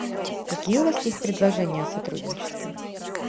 какие у вас есть предложения о сотрудничестве